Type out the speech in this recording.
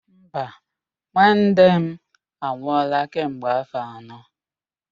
Mba, nnenne m anwụọla kemgbe áfọ̀ anọ